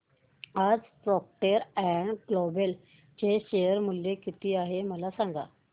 आज Procter and Gamble चे share मूल्य किती आहे मला सांगा